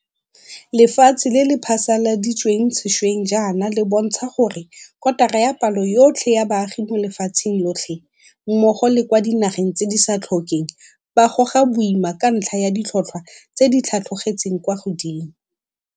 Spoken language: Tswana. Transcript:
Lefatshe le le phasaladitsweng sešweng jaana le bontsha gore kotara ya palo yotlhe ya baagi mo lefatsheng lotlhe, mmogo le kwa dinageng tse di sa tlhokeng, ba goga boima ka ntlha ya ditlhotlhwa tse di tlhatlogetseng kwa godimo.